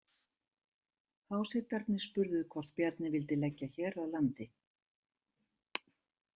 Hásetarnir spurðu hvort Bjarni vildi leggja hér að landi.